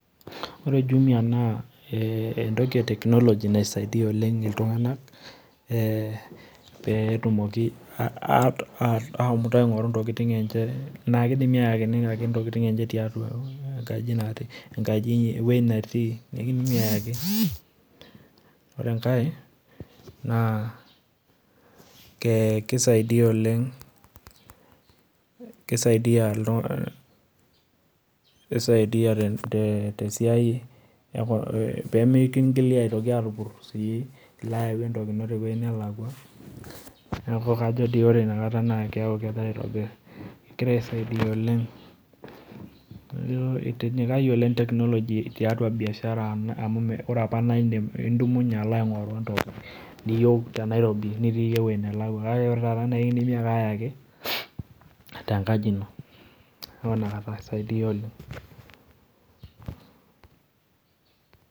Ore jumia na entoki technology naisaidia ltunganak e petumoki ashomoita aingoru ntokikini enye na kidim ashomo ayaki ntokitin enche tiatua enkaji ewueji natii ekindimi ayaki ,ore enkae na kisaidia oleng kisaidia oleng, kisaidia tesiai e pemikingili atupur entoki ino tewueji nalakwa neaku kajo doi ore inakata egira aisaidia oleng, itinyikayie oleng technology atua biashara amu ore apa na idumunye alo aingoru ntokikini niyol te nairobi nitiye ewoi nalakwa kakee ore taata na ekindimi ake ayaki tenkaji ino neaku inakata kisaidia oleng'.